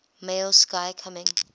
male sky coming